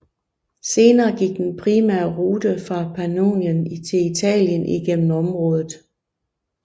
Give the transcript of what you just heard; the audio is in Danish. Senere gik den primære rute fra Pannonien til Italien igennem området